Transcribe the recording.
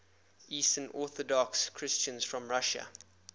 eastern orthodox christians from russia